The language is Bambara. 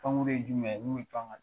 Pankurun ye jumɛn ye min bɛ pan ka